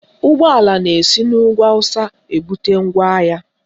Ụgbọala na-esi n'ugwu Awụsa Naijiria ebute ngwaahịa